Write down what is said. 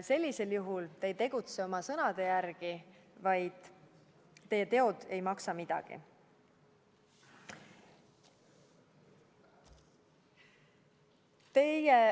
Sellisel juhul ei tegutse te oma sõnade järgi, teie teod ei maksa midagi.